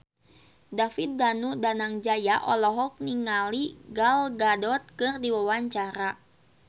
David Danu Danangjaya olohok ningali Gal Gadot keur diwawancara